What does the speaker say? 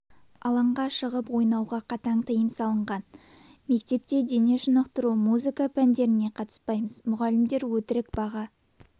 алаңға шығып ойнауға қатаң тыйым салған мектепте дене шынықтыру музыка пәндеріне қатыспаймыз мұғалімдер өтірік баға